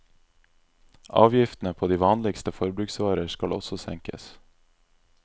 Avgiftene på de vanligste forbruksvarer skal også senkes.